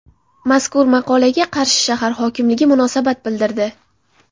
Mazkur maqolaga Qarshi shahar hokimligi munosabat bildirdi.